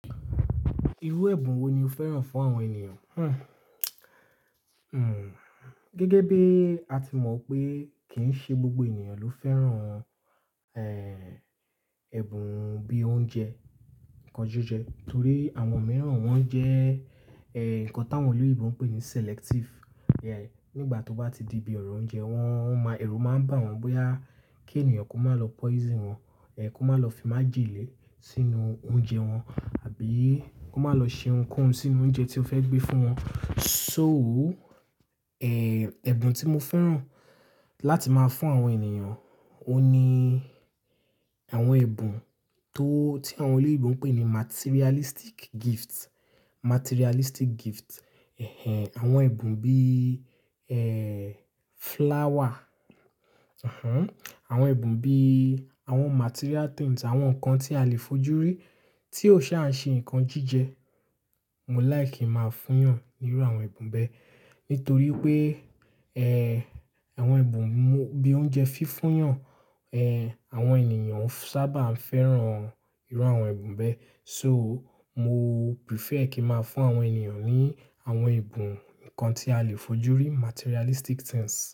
Irú ẹ̀bùn wo ni o fẹ́ràn fún àwọn ènìyàn? Hmm, gẹ́gẹ́ bí a ti mọ̀ pé kìí ṣe gbogbo ènìyàn ló fẹ́ràn, eh, ẹ̀bùn bí i oúnjẹ nkan jíjẹ torí àwọn mìíràn wọ́n jẹ́, eh, nǹkan tí àwọn orílẹ̀-èdè òún pé ní selective. Yeah, nígbà tó bá ti di ibi ọ̀rọ̀ oúnjẹ wọn, ẹ̀rù máa ń bà wọ́n bóyá kí ènìyàn kó má lọ poison wọn, eh, kó má lọ fi májèlé sínú oúnjẹ wọn àbí kó má lọ ṣe nǹkan sí inú oúnjẹ tí ó fẹ́ gbé fún wọn. So, eh, ẹ̀bùn tí mo fẹ́ràn láti máa fún àwọn ènìyàn, ohun ní àwọn ẹ̀bùn tó tí àwọn oloyinbo n pé ní materialistic gifts, materialistic gifts. Ẹ̀hẹn, àwọn ẹ̀bùn bí, eh, flower. Àwọn ẹ̀bùn bí i àwọn material things, àwọn nǹkan tí a lè fojúrí tí ó ṣa ń ṣe nǹkan jíjẹ. Mo like máa fún yàn nínú àwọn ẹ̀bùn bẹ́ẹ̀ nítorí pé, ẹ́ẹ̀, àwọn ẹ̀bùn bí i oúnjẹ fífún yàn, eh, àwọn ènìyàn sábà ń fẹ́ràn irú àwọn ẹ̀bùn bẹ́ẹ̀. So mo prefer kí máa fún àwọn ènìyàn ní àwọn ẹ̀bùn, nǹkan tí a lè fojúrí, materialistic things.